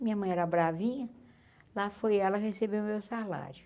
Minha mãe era bravinha, lá foi ela receber o meu salário.